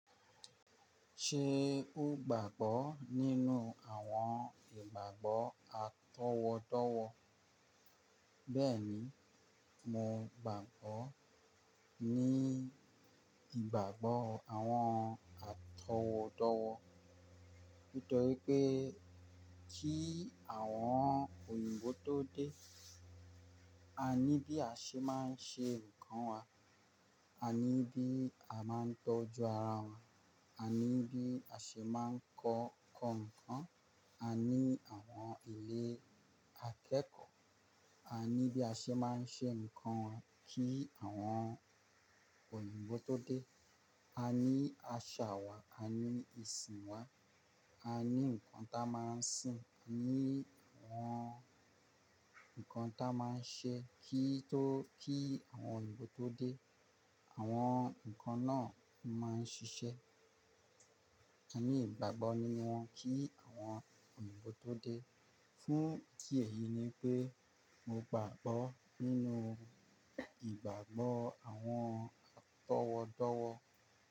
Ṣé o gbàgbọ́ nínú àwọn ìgbàgbọ́ atọwọdọwọ? Bẹ́ẹ̀ni, mo gbàgbọ́ ní ìgbàgbọ́ àwọn àtọwódówó. Nítorí pé kí àwọn òyìnbó tó dé, a ní bí a ṣe máa ń ṣe nǹkan wa, a ní bí a máa ń tọ́jú ara wa, a ní bí a ṣe máa ń kọ kan nǹkan, a ní àwọn ilé akẹ́kọ̀ọ́, a ní bí a ṣe máa ń ṣe nǹkan wa kí àwọn òyìnbó tó dé. A ní àṣà wa, a ní ìsìn wa, a ní nǹkan ta máa ń sìn, a ní àwọn nǹkan ta máa ń ṣe kí tó kí àwọn òyìnbó tó dé. Àwọn nǹkan náà máa ń ṣiṣẹ́. A ní ìgbàgbọ́ nínú wọn kí àwọn òyìnbó tó dé. Fún ìdí èyí ni wípé mo gbàgbọ́ nínú ìgbàgbọ́ àwọn àtọwódówó.